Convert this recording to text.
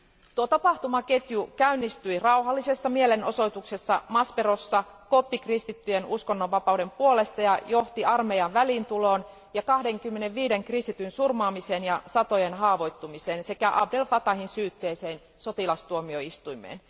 Tuo tapahtumaketju käynnistyi rauhallisessa mielenosoituksessa Masperossa koptikristittyjen uskonnonvapauden puolesta ja johti armeijan väliintuloon ja 25 kristityn surmaamiseen ja satojen haavoittumiseen sekä Abd El Fatahin syytteeseen sotilastuomioistuimessa.